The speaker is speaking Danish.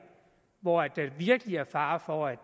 hvor der virkelig er fare for at